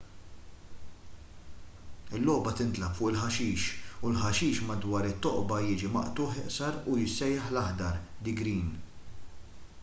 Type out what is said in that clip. il-logħba tintlagħab fuq il-ħaxix u l-ħaxix madwar it-toqba jiġi maqtugħ iqsar u jissejjaħ l-aħdar the green”